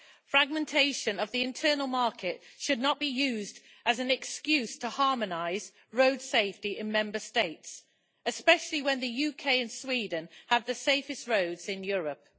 Fragmentation of the internal market should not be used as an excuse to harmonise road safety in Member States, especially when the UK and Sweden have the safest roads in Europe.